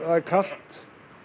kalt